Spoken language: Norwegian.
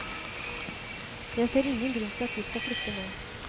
Jeg ser ingen grunn til at vi skal flytte nå.